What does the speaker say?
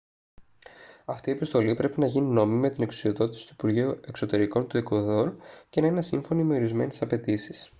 αυτή η επιστολή πρέπει να γίνει νόμιμη με την εξουσιοδότηση του υπουργείου εξωτερικών του εκουαδόρ και να είναι σύμφωνη με ορισμένες απαιτήσεις